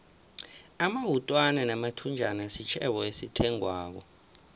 amawutwana namathunjana sitjhebo esithengwako